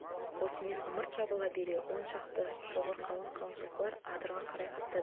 осымен ымырт жабыла бере он шақты шоғыр қалың-қалың жылқылар адырға қарай қаптады